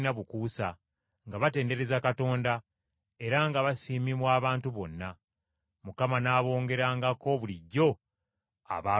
nga batendereza Katonda, era nga basiimibwa abantu bonna. Mukama n’abongerangako bulijjo abaalokolebwanga.